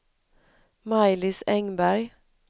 Maj-Lis Engberg